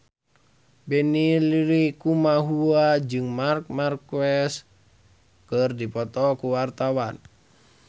Benny Likumahua jeung Marc Marquez keur dipoto ku wartawan